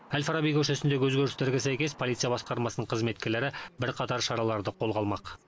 әл фараби көшесіндегі өзгерістерге сәйкес полиция басқармасының қызметкерлері бірқатар шараларды қолға алмақ